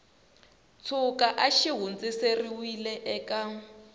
tshuka a xi hundziserile eka